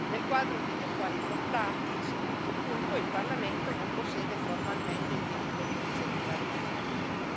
Nel quadro degli attuali trattati secondo punto il Parlamento non possiede formalmente il diritto di iniziativa legislativa.